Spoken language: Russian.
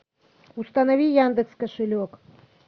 установи яндекс кошелек